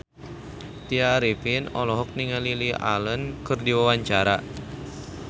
Tya Arifin olohok ningali Lily Allen keur diwawancara